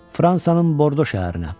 Fransanın Bordo şəhərinə.